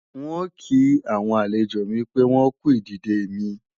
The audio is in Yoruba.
N ò kí àwọn àlejò mi pé wọ́n kú ìdìde mi